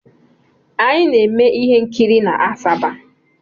Anyị na-eme ihe nkiri n'Asaba.